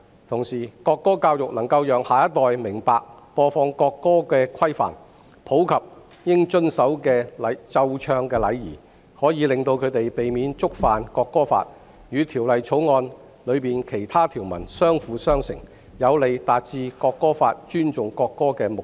同時，國歌教育能夠讓下一代明白播放國歌的規範及應遵守的奏唱禮儀，可以令他們避免觸犯《國歌法》，與《條例草案》的其他條文相輔相成，有利達致《國歌法》尊重國歌的目的。